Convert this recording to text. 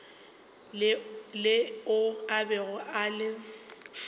leo a bego a le